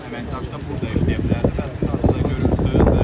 əməkdaşlar burda işləyə bilərdi və statistikanı görürsünüz.